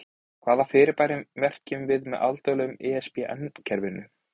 Hvaða fyrirbæri merkjum við með alþjóðlega ISBN-kerfinu?